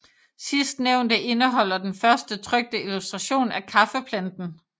Sidstnævnte indeholder den første trykte illustration af kaffeplanten